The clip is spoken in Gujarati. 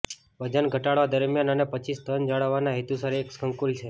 વજન ઘટાડવા દરમ્યાન અને પછી સ્તન જાળવવાના હેતુસર એક સંકુલ છે